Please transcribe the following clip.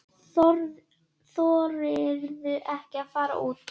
Þorirðu ekki að fara úr?